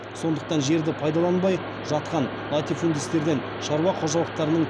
сондықтан жерді пайдаланбай жатқан латифудистерден шаруа қожалықтарының